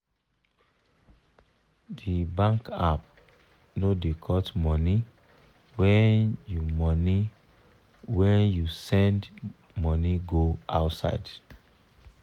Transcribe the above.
de bankapp no da cut money when you money when you send money go outside